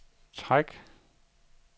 træk